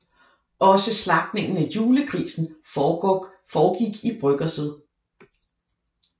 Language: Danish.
Også slagtningen af julegrisen foregik i bryggerset